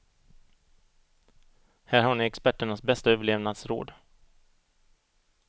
Här har ni experternas bästa överlevnadsråd.